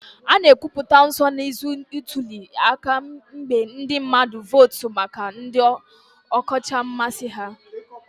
A na-ekwupụta nsonaazụ ntuli aka mgbe ndị mmadụ votu maka ndị ọkacha mmasị ha